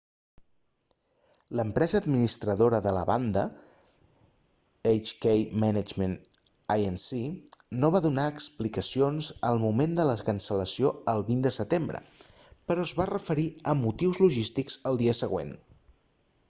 l'empresa administradora de la banda hk management inc no va donar explicacions al moment de la cancel·lació del 20 de setembre però es va referir a motius logístics el dia següent